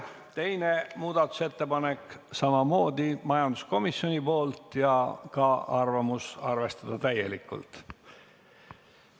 Teine muudatusettepanek on samamoodi majanduskomisjonilt ja ka arvamus: arvestada seda täielikult.